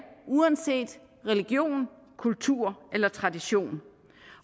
uanset religion kultur eller tradition